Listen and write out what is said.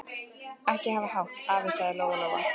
Ekki hafa hátt, afi, sagði Lóa Lóa.